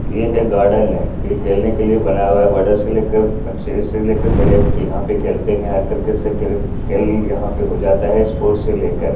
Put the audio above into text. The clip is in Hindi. ये है गार्डन है ये खेलने के लिए बना हुआ है बड़े से लेकर बच्चे से लेकर बड़े तक यहाँ पे खेलते हैं हर तरीके से खेल- खेल यहाँ पे हो जाता है स्पोर्टस से लेकर--